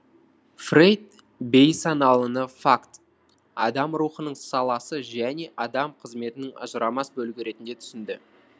фрейд бейсаналыны факт адам рухының саласы және адам қызметінің ажырамас бөлігі ретінде түсінді